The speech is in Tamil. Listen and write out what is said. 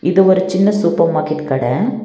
இது ஒரு சின்ன சூப்பர் மார்க்கெட் கட.